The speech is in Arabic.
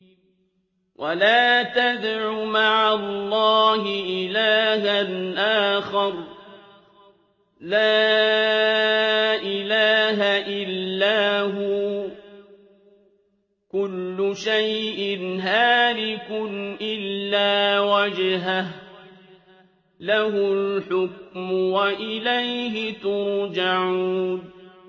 وَلَا تَدْعُ مَعَ اللَّهِ إِلَٰهًا آخَرَ ۘ لَا إِلَٰهَ إِلَّا هُوَ ۚ كُلُّ شَيْءٍ هَالِكٌ إِلَّا وَجْهَهُ ۚ لَهُ الْحُكْمُ وَإِلَيْهِ تُرْجَعُونَ